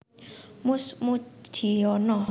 Mus Mujiono